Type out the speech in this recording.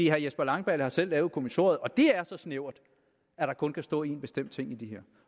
herre jesper langballe har selv lavet kommissoriet og det er så snævert at der kun kan stå én bestemt ting i det